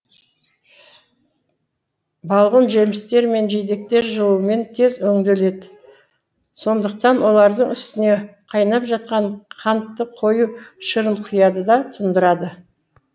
балғын жемістер мен жидектер жылумен тез өңделеді сондықтан олардың үстіне қайнап жатқан қантты қою шырын құяды да тұндырады